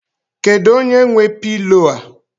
Kedụ onye nwe pilo a?